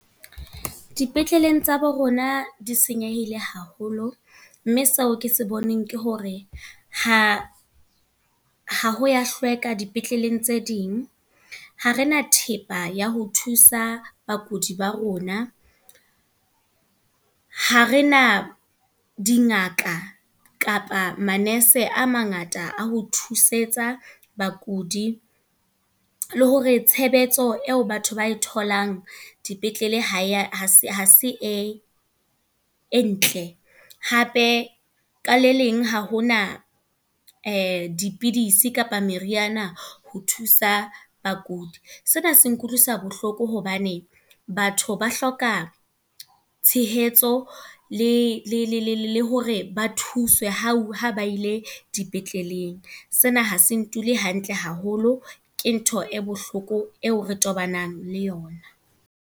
Dipetleleng tsa bo rona di senyehile haholo. Mme seo ke sa boneng ke hore, ha ha ho ya hlweka dipetleleng tse ding. Ha re na thepa ya ho thusa bakudi ba rona. Ha re na dingaka kapa manese a mangata a ho thusetsa bakudi. Le hore tshebetso eo batho ba e tholang dipetlele ha se e ntle. Hape ka le leng ha hona dipidisi kapa meriana ho thusa bakudi. Sena se nkutlwisa bohloko hobane batho ba hloka tshehetso, le hore ba thuswe ho ha ba ile dipetleleng. Se na ha se ndule hantle haholo. Ke ntho e bohloko eo re tobanang le yona.